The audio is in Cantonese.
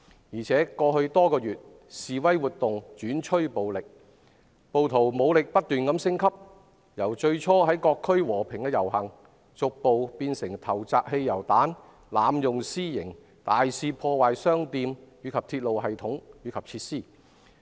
而且，在過去多個月中，示威活動轉趨暴力，暴徒武力不斷升級：由最初在各區和平遊行，逐步變成投擲汽油彈、濫用私刑、大肆破壞商店及鐵路系統和設施。